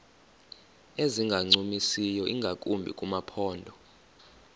ezingancumisiyo ingakumbi kumaphondo